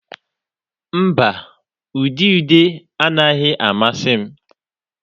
Mba, ude ude anaghị amasị m.